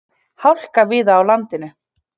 Hálka víða á landinu